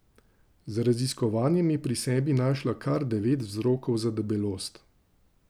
Z raziskovanjem je pri sebi našla kar devet vzrokov za debelost.